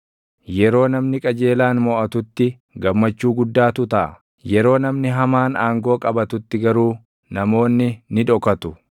Yeroo namni qajeelaan moʼatutti gammachuu guddaatu taʼa; yeroo namni hamaan aangoo qabatutti garuu // namoonni ni dhokatu.